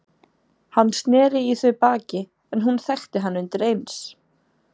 Hann sneri í þau baki en hún þekkti hann undir eins.